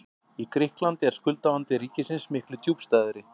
Í Grikklandi er skuldavandi ríkisins miklu djúpstæðari.